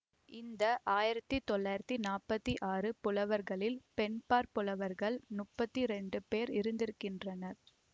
இந்த ஆயிரத்தி நானூத்தி நாற்பத்தி ஆறு புலவர்களில் பெண்பாற் புலவர்கள் முப்பத்தி இரண்டு பேர் இருந்திருக்கின்றனர்